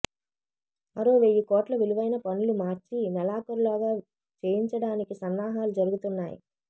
మరో వెయ్యికోట్ల విలువైన పనులు మార్చి నెలాఖరులోగా చేయించడానికి సన్నాహాలు జరుగుతున్నాయి